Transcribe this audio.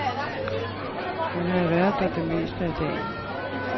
Hun havde været der det meste af dagen.